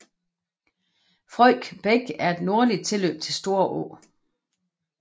Frøjk Bæk er et nordligt tilløb til Storå